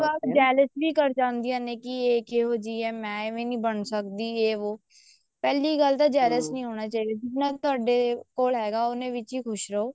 ਕਈ ਵਾਰ jealous ਵੀ ਕਰ ਜਾਂਦੀਆਂ ਨੇ ਕੇ ਇਹ ਕਿਹੋ ਜਿਹੀ ਆ ਮੈਂ ਏਵੇਂ ਨੀ ਬਣ ਸਕਦੀ ਏ ਵੋ ਪਹਿਲੀ ਗੱਲ ਤਾਂ jealous ਨੀ ਹੋਣਾ ਚਾਹੀਦਾ ਜਿੰਨਾ ਤੁਹਾਡੇ ਕੋਲ ਹੈਗਾ ਉੰਨੇ ਵਿੱਚ ਹੀ ਖੁਸ਼ ਰਹੋ